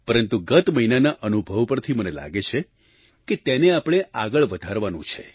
પરંતુ ગત મહિનાના અનુભવ પરથી મને લાગે છે કે તેને આપણે આગળ વધારવાનું છે